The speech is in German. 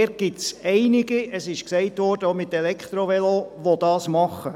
Es gibt einige, die diese Strecke auch mit Elektrovelos zurücklegen.